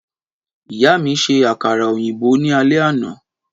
Ìyá mi ṣe àkàrà òyìnbó ní alé àná.